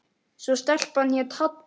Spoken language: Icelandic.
Svo stelpan hét Halla.